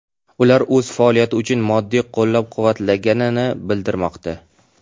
Ular o‘z faoliyati uchun moddiy qo‘llab-quvvatlangani bildirilmoqda.